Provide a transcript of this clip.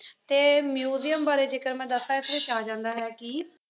ਅਤੇ ਮਿਊਜ਼ੀਅਮ ਬਾਰੇ ਜੇਕਰ ਮੈਂ ਦੱਸਾਂ ਇਸ ਵਿੱਚ ਆ ਜਾਂਦਾ ਹੈ ਕੀ,